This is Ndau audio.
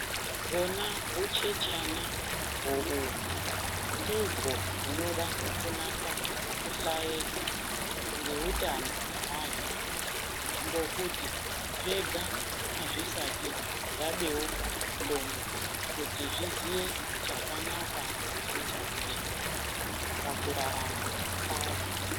Hona huchechana huchechana ho uhu ndiho hunoda kunasa kuhlaeka ngokuti antu ngokuti zvega hazvisati zvabeuka nc'ndo kuti zvizie chakanaka nechakasht pakurarama kwazvo